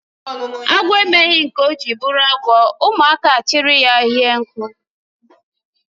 Agwọ emeghị nke ọ jiri bụrụ agwọ ụmụaka achri ya hie nku